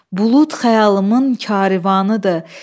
Bulud xəyalımın karivanıdır.